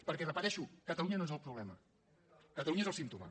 perquè ho repeteixo catalunya no és el problema catalunya és el símptoma